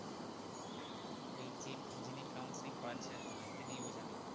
ওই যে যিনি counselling করাছিলেন তোমায় তিনিই বোঝালেন?